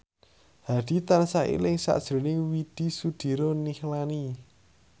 Hadi tansah eling sakjroning Widy Soediro Nichlany